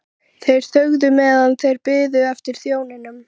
Þeir þögðu meðan þeir biðu eftir þjóninum.